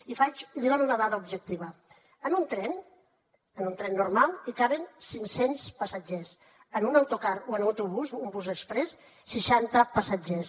i li dono una dada objectiva en un tren en un tren normal hi caben cinc cents passatgers en un autocar o en un autobús un bus exprés seixanta passatgers